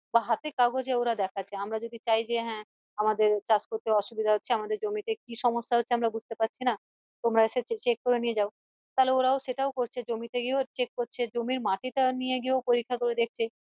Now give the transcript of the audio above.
বা হাতে কাগজে ওরা দেখাচ্ছে আমরা যদি চাই যে হ্যাঁ আমাদের চাষ করতে অসুবিধা হচ্ছে আমাদের জমিতে কি সমস্যা হচ্ছে আমরা বুঝতে পারছি না তোমরা এসে check করে নিয়ে যাও তালে ওরা সেটাও করছে জমিতে গিয়েও check করছে জমির মাটি টা নিয়ে গিয়েও পরীক্ষা করে দেখছে